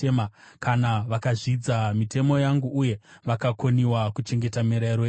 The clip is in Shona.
kana vakazvidza mitemo yangu, uye vakakoniwa kuchengeta mirayiro yangu,